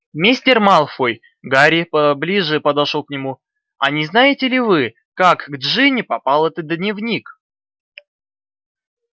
мистер малфой гарри поближе подошёл к нему а не знаете ли вы как к джинни попал этот дневник